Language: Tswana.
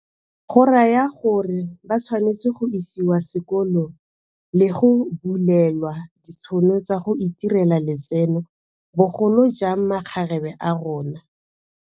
Go raya gore ba tshwanetse go isiwa sekolong le go bulelwa ditšhono tsa go itirela letseno, bogolojang makgarebe a rona.